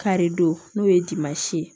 Karidon n'o ye dimansi ye